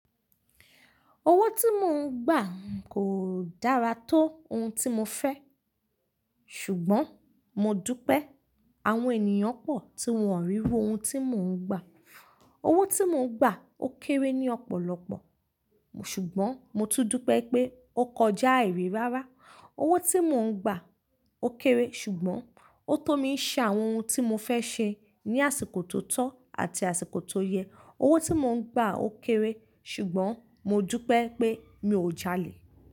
Owó tí mò ń gbà kò dára tó ohun tí mo fẹ́, ṣùgbọ́n mo dúpẹ́ àwọn ènìyàn pọ̀ tí wọ́n o ríru ohun tí mò ń gbà. Owó tí mò ń gbà ó kéré ní ọ̀pọ̀lọpọ̀, ṣùgbọ́n mo tún dúpẹ́ pé ó kọjá ai ri rárá. Owó tí mò ń gbà ó kéré ṣùgbọ́n ó tó mi ṣe àwọn ohun tí mo fẹ́ ṣe ní àsìkò tó tọ́ àti àsìkò tó yẹ. Owó tí mò ń gbà ó kéré ṣùgbọ́n mo dúpẹ́ pé mi ò jalè.